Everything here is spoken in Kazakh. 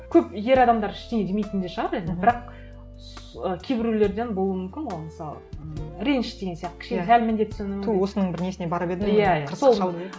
көп ер адамдар ештеңе демейтін де шығар енді бірақ ы кейбіреулерден болуы мүмкін ғой мысалы м реніш деген сияқты кішкене сәл міндетсіну ту осының бір несіне барып едім иә иә қырсығы шалды деп